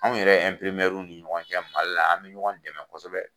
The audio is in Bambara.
Anw yɛrɛ ni ɲɔgɔn cɛ Mali la an bɛ ɲɔgɔn dɛmɛ kosɛbɛ.